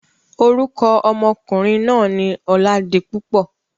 Orúkọ ọmọkùnrin náà ni Ọládipúpọ̀.